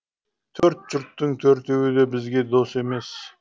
төрт жұрттың төртеуі де бізге дос емес